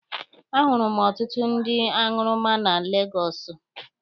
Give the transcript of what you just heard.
A hụrụ m ọtụtụ ndị aṅụrụma na Legọsụ.